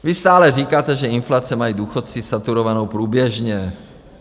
Vy stále říkáte, že inflaci mají důchodci saturovanou průběžně.